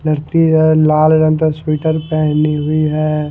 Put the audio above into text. लड़की है लाल रंग का शूटर पहनी हुई ।